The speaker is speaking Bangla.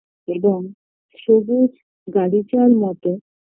এবং সবুজ গালিচার মতো